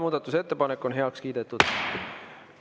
Muudatusettepanek on heaks kiidetud.